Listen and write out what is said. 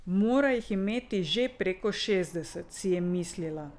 Mora jih imeti že preko šestdeset, si je mislila.